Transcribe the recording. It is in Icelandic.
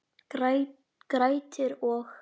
Grettir og